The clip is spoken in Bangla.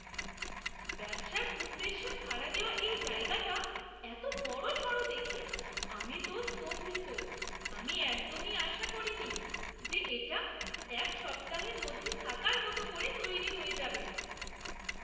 ব্যবসার উদ্দেশ্যে ভাড়া দেওয়া এই জায়গাটা এতো বড়সড় দেখে আমি তো স্তম্ভিত! আমি একদমই আশা করিনি যে এটা এক সপ্তাহের মধ্যে থাকার মতো করে তৈরি হয়ে যাবে!